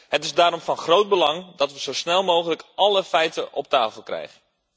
Het is daarom van groot belang dat we zo snel mogelijk alle feiten op tafel krijgen.